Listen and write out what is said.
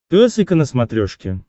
пес и ко на смотрешке